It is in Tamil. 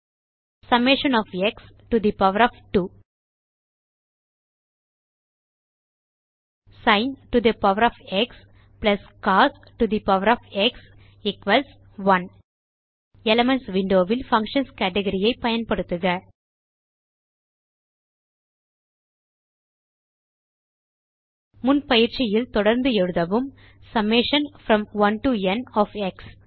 summation of x to the power of 2 sin to the power of x plus cos to the power of x 1 elements window வில் பங்ஷன்ஸ் கேட்கரி ஐ பயன்படுத்துக முன் பயிற்சியில் தொடர்ந்து எழுதவும் summation from 1 to n of X